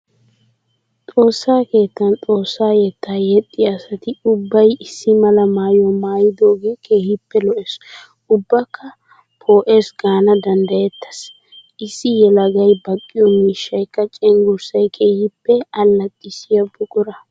Xoossa keettan xoossa yetta yexxiya asatti ubbay issi mala maayuwa maayidooge keehippe lo'ees ubbakka phooles gaana danddayetes. Issi yelagay baqqiyo miishshaykka cenggurssay keehippe allaxxissiyo buqura.